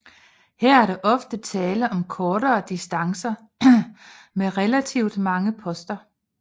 Her er der ofte tale om kortere distancer med relativt mange poster